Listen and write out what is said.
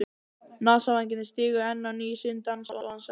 Nasavængirnir stigu enn á ný sinn dans og hann sagði